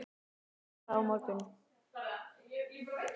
Þú ert að fara á morgun.